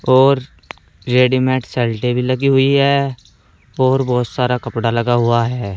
और रेडीमेड सलटे भी लगी हुई हैं और बोहोत सारा कपड़ा लगा हुआ हैं।